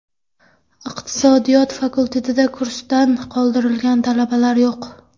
Iqtisodiyot fakultetida kursdan qoldirilgan talabalar yo‘q.